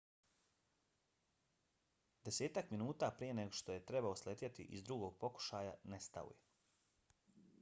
desetak minuta prije nego što je trebao sletjeti iz drugog pokušaja nestao je